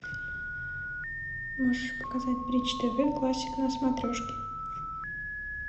можешь показать бридж тв классик на смотрешке